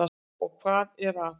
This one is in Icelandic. Og hvað er að?